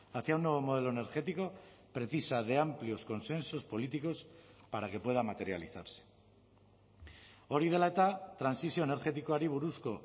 hacia un nuevo modelo energético precisa de amplios consensos políticos para que pueda materializarse hori dela eta trantsizio energetikoari buruzko